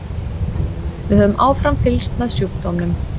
Við höfum áfram fylgst með sjúkdómnum.